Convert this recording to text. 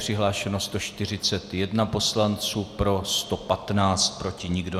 Přihlášeno 141 poslanců, pro 115, proti nikdo.